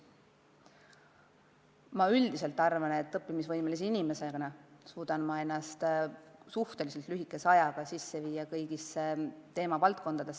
Ma üldiselt arvan, et õppimisvõimelise inimesena suudan ma ennast suhteliselt lühikese ajaga kurssi viia kõigi teemavaldkondadega.